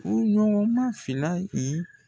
Furu nɔgɔn ma fila yi